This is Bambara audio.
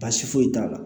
Baasi foyi t'a la